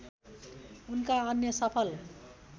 उनका अन्य सफल